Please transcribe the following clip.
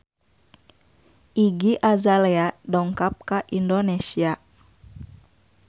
Iggy Azalea dongkap ka Indonesia